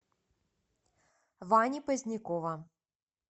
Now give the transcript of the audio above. вани позднякова